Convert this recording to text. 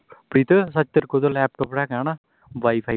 ਪ੍ਰੀਤ ਤੇਰੇ ਕੋਲ ਸੱਚ laptop ਹੈਗਾ ਨਾਂ wi-fi ਵੀਂ